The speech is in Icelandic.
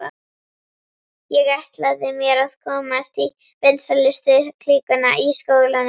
Ég ætlaði mér að komast í vinsælustu klíkuna í skólanum.